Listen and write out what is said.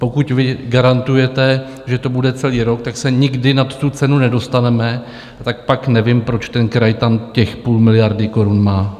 Pokud vy garantujete, že to bude celý rok, tak se nikdy nad tu cenu nedostaneme, tak pak nevím, proč ten kraj tam těch půl miliardy korun má.